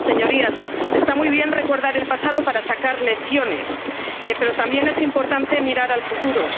desarrollo sostenible. Señorías, está muy bien recordar el pasado para sacar lecciones, pero también es importante